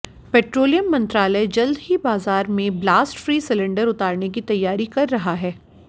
petroleum मंत्रालय जल्द ही बाजार में ब्लास्ट फ्री सिलेंडर उतारने की तैयारी कर रहा है